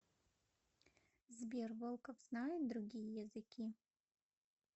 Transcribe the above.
сбер волков знает другие языки